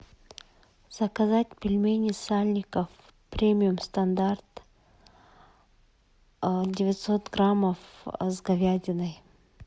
заказать пельмени сальников премиум стандарт девятьсот граммов с говядиной